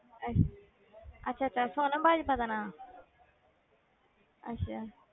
ਅੱਛਾ ਅੱਛਾ ਅੱਛਾ ਸੋਨਮ ਬਾਜਵਾ ਦਾ ਨਾਂ ਅੱਛਾ।